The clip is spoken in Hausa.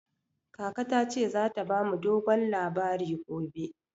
Kaka ta ce za ta ba mu dogon labari gobe.